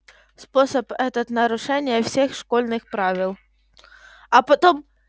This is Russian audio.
способ этот нарушение всех школьных правил а потом